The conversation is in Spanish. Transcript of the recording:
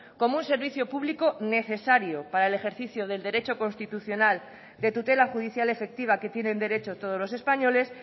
como un servicio público necesario para el ejercicio del derecho constitucional de tutela judicial efectiva que tienen derecho todos los españoles